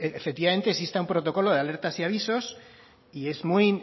efectivamente exista un protocolo de alertas y avisos y es